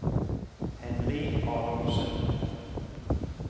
Henry Adolfsen